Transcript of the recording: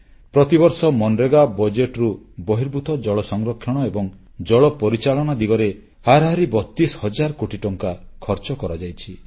ପ୍ରତିବର୍ଷ ମନରେଗା ବଜେଟରୁ ବହିର୍ଭୂତ ଜଳ ସଂରକ୍ଷଣ ଏବଂ ଜଳ ପରିଚାଳନା ଦିଗରେ ହାରାହାରି 32 ହଜାର କୋଟି ଟଙ୍କା ଖର୍ଚ୍ଚ କରାଯାଇଛି